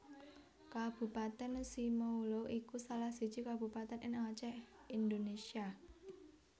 Kabupatèn Simeulue iku salah siji kabupatèn ing Acèh Indonésia